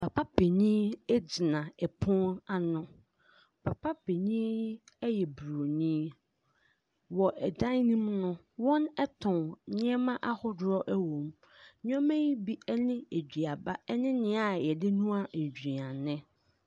Papa Panyini agyina 3pono ano , papa Panyini yi 3y3 bronii, w) 3dan no mu no ,w)n 3t)n ne3ma ahodo) 3w) mu. Ne3ma yi bi 3ne aduaba 3ne nea y3de noa nnuane.